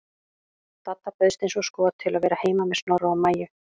Dadda bauðst eins og skot til að vera heima með Snorra og Maju.